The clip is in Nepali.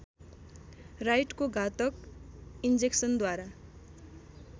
राइटको घातक इन्जेक्सनद्वारा